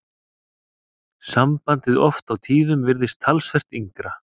Sambandið oft á tíðum virðist talsvert yngra.